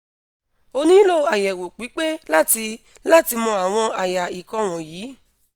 o nilo ayewo pipe lati lati mo awon aya ikan wonyi